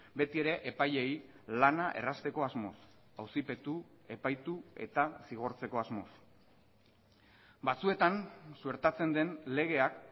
beti ere epaileei lana errazteko asmoz auzipetu epaitu eta zigortzeko asmoz batzuetan suertatzen den legeak